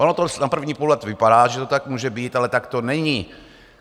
Ono to na první pohled vypadá, že to tak může být, ale tak to není.